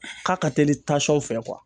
K'a ka teli tsɔn fɛ kuwa